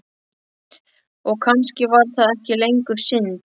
Og kannski var það ekki lengur synd.